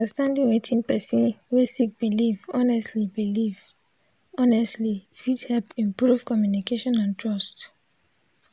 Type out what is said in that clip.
understanding wetin person wey sik biliv honestly biliv honestly fit hep improve communication and trust.